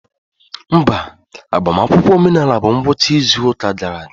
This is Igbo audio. Mba, agbamakwụkwọ omenala bụ ngwụcha izu ụka gara aga.